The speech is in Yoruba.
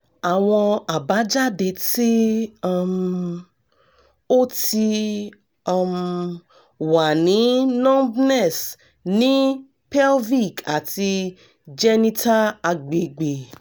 awọn abajade ti um o ti um wa ni numbness ni pelvic ati genital agbegbe